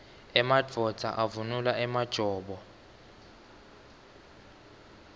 emadvodza avunula emajobo